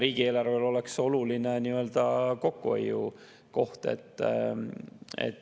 Riigieelarvele oleks see oluline kokkuhoiukoht.